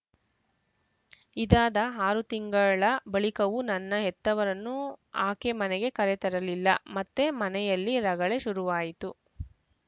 ಇದಾದ ಆರು ತಿಂಗಳ ಬಳಿಕವು ನನ್ನ ಹೆತ್ತವರನ್ನು ಆಕೆ ಮನೆಗೆ ಕರೆ ತರಲಿಲ್ಲ ಮತ್ತೆ ಮನೆಯಲ್ಲಿ ರಗಳೆ ಶುರುವಾಯಿತು